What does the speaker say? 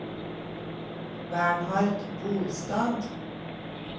Bernhard Bolstad